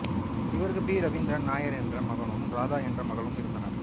இவருக்கு பி ரவீந்திரன் நாயர் என்ற மகனும் இராதா என்ற மகளும் இருந்தனர்